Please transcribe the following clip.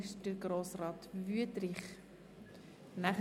– Das ist nicht der Fall.